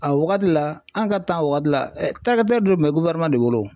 A wagati la an ka wagatj la bɛɛ tun bɛ de bolo o.